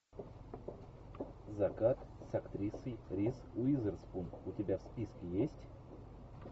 закат с актрисой риз уизерспун у тебя в списке есть